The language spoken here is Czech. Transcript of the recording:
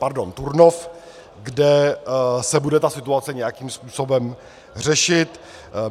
Pardon, Turnov, kde se bude ta situace nějakým způsobem řešit.